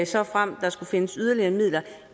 såfremt der skulle findes yderligere midler